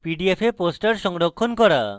PDF এ poster সংরক্ষণ করা